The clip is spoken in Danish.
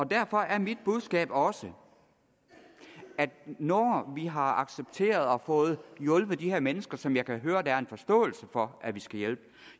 derfor er mit budskab også at når vi har accepteret og fået hjulpet de her mennesker som jeg kan høre at der er en forståelse for at vi skal hjælpe